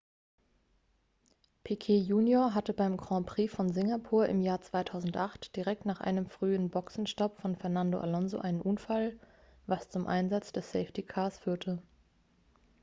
piquet junior hatte beim grand prix von singapur im jahr 2008 direkt nach einem frühen boxenstopp von fernando alonso einen unfall was zum einsatz des safety cars führte